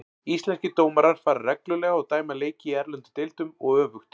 Íslenskir dómarar fara reglulega og dæma leiki í erlendum deildum og öfugt.